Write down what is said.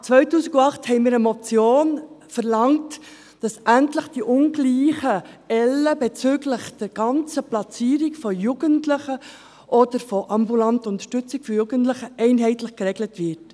2008 verlangten wir mit einer Motion, dass die ungleichen Ellen bezüglich der ganzen Platzierung von Jugendlichen oder von ambulanter Unterstützung für Jugendliche endlich einheitlich geregelt werden.